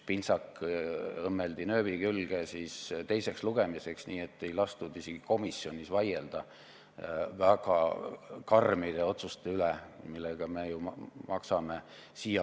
Pintsak õmmeldi teiseks lugemiseks nööbi külge ja ei lastud isegi komisjonis vaielda väga karmide otsuste üle, mille eest me siiamaani maksame.